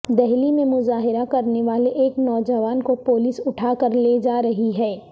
دہلی میں مظاہرہ کرنے والے ایک نوجوان کو پولیس اٹھا کر لے جا رہی ہے